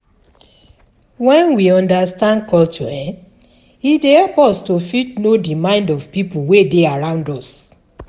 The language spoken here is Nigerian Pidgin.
When we understand culture e dey help us to fit know di mind of pipo wey dey around us